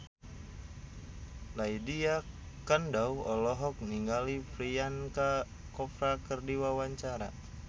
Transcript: Lydia Kandou olohok ningali Priyanka Chopra keur diwawancara